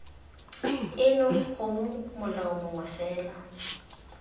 eno gongwe molao mongwe fela